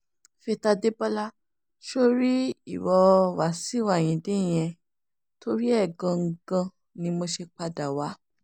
faith adébọlá ṣó o rí ìwo wàbíù ayíǹde yẹn torí ẹ̀ gan-an ni mo ṣe padà wá